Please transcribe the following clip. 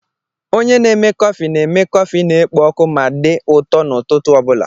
Onye na-eme kọfị na-eme kọfị na-ekpo ọkụ ma dị ụtọ n'ụtụtụ obula